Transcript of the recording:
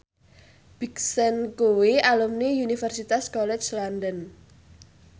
Big Sean kuwi alumni Universitas College London